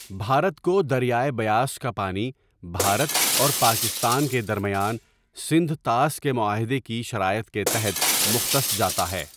بھارت کو دریائے بیاس کا پانی بھارت اور پاکستان کے درمیان سندھ طاس معاہدے کی شرائط کے تحت مختص جاتا ہے۔